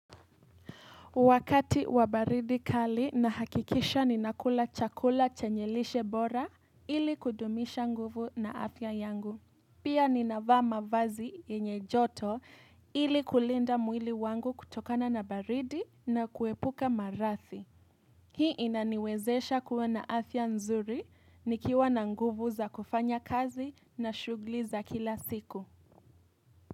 Wakati wabaridi kali na hakikisha ni nakula chakula chenye lishe bora ili kudumisha nguvu na afya yangu. Pia ninavaa mavazi yenye joto ili kulinda mwili wangu kutokana na baridi na kuepuka maradhi. Hii inaniwezesha kuwa na afya nzuri nikiwa na nguvu za kufanya kazi na shughli za kila siku.